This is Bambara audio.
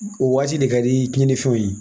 O waati de ka di tiɲɛnifɛnw ye